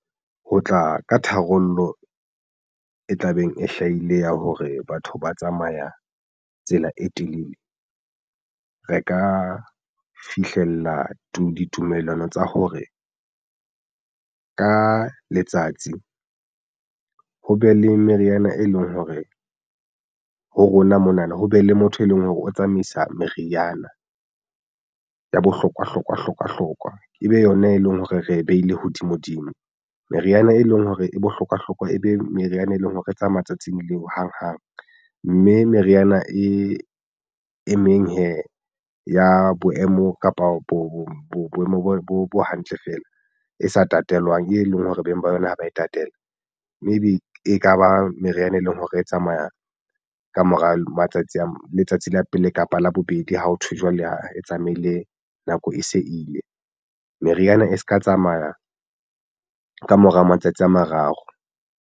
Ho tla ka tharollo e tlabeng e hlahile ya hore batho ba tsamaya tsela e telele. Re ka fihlella ditumellano tsa hore ka letsatsi ho be le meriana e leng hore ho rona mona na ho be le motho e leng hore o tsamaisa meriana ya bohlokwa hlokwa hlokwa ebe yona e leng hore re behile hodimo dimo meriana e leng hore e bohlokwahlokwa e be meriana e leng hore e tsa matsatsing leo hang hang mme meriana e emeng hee ya boemo kapa bo boemo bo hantle feela e sa tatelwang e leng hore beng ba yona ha ba tatela. Maybe ekaba meriana e leng hore e tsamayang ka mora matsatsi a letsatsi la pele kapa la bobedi ha ho thwe jwale a tsamaile nako e se ile meriana e se ka tsamaya ka mora matsatsi a mararo.